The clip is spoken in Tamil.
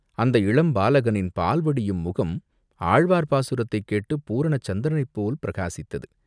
அந்த இளம் பாலகனின் பால்வடியும் முகம் ஆழ்வார் பாசுரத்தை கேட்டுப் பூரண சந்திரனைப்போல் பிரகாசித்தது.